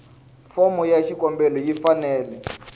fomo ya xikombelo yi fanele